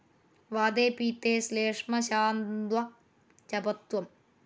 വാതേ പിത്തേ ശ്ളേഷ്മ ശാന്തൗചപഥ്യം